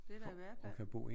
Det er der i hvert fald